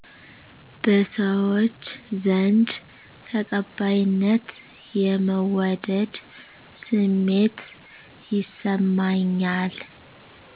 በሰዎች ዘንድ ተቀባይነት/የመወደድ ስሜት ይሰማኛል